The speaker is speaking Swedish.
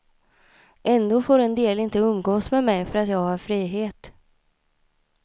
Ändå får en del inte umgås med mig för att jag har frihet.